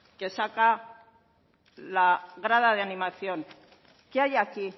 que saca la grada de animación qué hay aquí